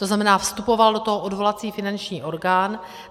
To znamená, vstupoval do toho odvolací finanční orgán.